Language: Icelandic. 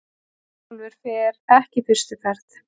Herjólfur fer ekki fyrstu ferð